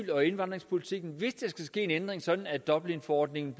og indvandringspolitikken skal ske en ændring sådan at dublinforordningen